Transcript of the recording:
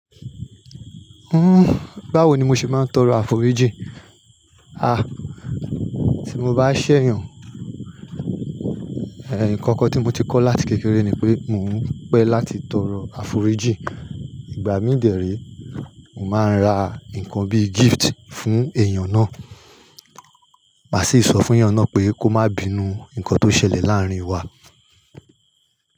Uhm, báwo ni mo ṣe máa ń tọrọ àforíjì? À, tí mo bá ṣẹ̀yàn, eh, nǹkan kan tí mo ti kọ́ láti kékeré ni pé mò ń pẹ́ láti tọrọ àforíjì. Igbà mí dèéré, mo màá n ra nǹkan bí gift fún èèyàn náà, màá sì sọ fún èèyàn náà pé kó má bínú nǹkan tó ṣẹlẹ̀ láàrin wa.